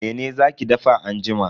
Mene za ki dafa anjima?